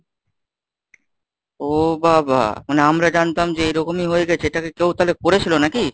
ও বাবা মানে আমরা জানতাম যে এরকমই হয়ে গেছে এটাকে কেউ তালে করেছিল নাকি?